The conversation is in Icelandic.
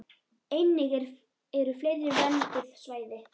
Einnig eru fleiri vernduð svæði.